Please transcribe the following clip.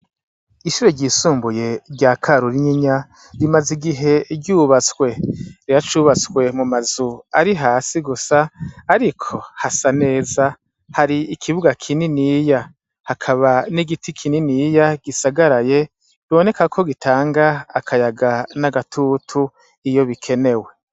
Ishube ryisumbuye rya ka rura inyinya rimaze igihe ryubatswe rira cubatswe mu mazu ari hasi gusa, ariko hasa neza hari ikibuga kininiya hakaba n'igiti kininiya gisagaraye riboneka ko gitanga akayaga n'agatutu io bo bikenewe.